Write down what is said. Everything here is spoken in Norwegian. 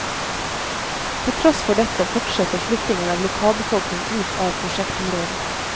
Til tross for dette fortsetter flyttingen av lokalbefolkning ut av prosjektområdet.